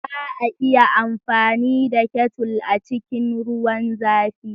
Za a iya amfani da Kettle a cikin ruwan zafi.